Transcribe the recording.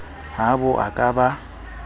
ha bo a ka ba